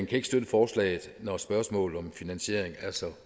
kan ikke støtte forslaget når spørgsmålet om finansiering er så